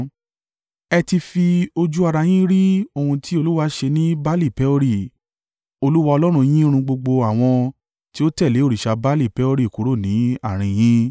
Ẹ ti fi ojú ara yín rí ohun tí Olúwa ṣe ní Baali-Peori. Olúwa Ọlọ́run yín run gbogbo àwọn tí ó tẹ̀lé òrìṣà Baali-Peori kúrò ní àárín yín.